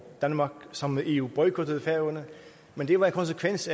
danmark sammen med eu boykottede færøerne men det var en konsekvens